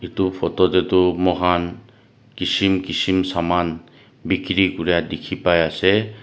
edu photo tae tu mokhan kishim kishim saman bikiri kura dikhipaiase.